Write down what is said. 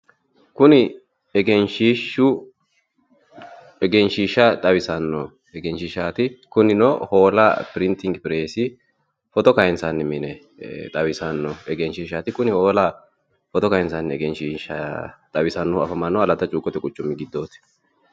kuni egenshiishshu egenshiishshi xawisanno egenshiishshaati kunino hoola pirintingi pireesi footo kayinsanni mine xawisannoho egenshiishshaati kuni hoola foto kayinsanni egenshiishshi afamannohu aleta cuukkote quchumi giddooti.